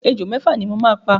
Ejò mẹ́fà ni mo máa pa.